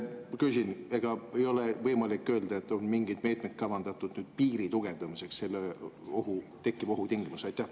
Küsin: ega ei ole võimalik öelda, et on mingeid meetmeid kavandatud piiri tugevdamiseks selle tekkiva ohu tingimustes?